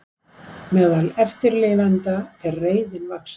Meðal eftirlifenda fer reiðin vaxandi